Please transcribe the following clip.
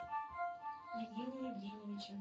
евгения евгеньевича